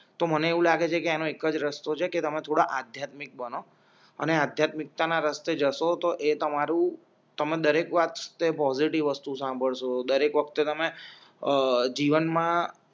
તો મને એવું લાગે છે કે એનો એક જ રસ્તો છે કે તમે થોડા આધ્યાત્મિક બનો અને આધ્યાત્મિકતાના રસ્તે જશો તો એ તમારું તમે દરેક વાતે પોઝિટિવ વસ્તુ સાંભળસો દરેક વખતે તમે અ જીવનમાં